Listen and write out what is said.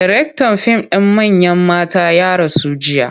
Daraktan fim ɗin Manyan Mata ya rasu jiya.